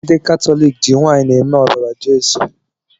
Ndi katọlịkị ji waịnị eme ọbara Jeso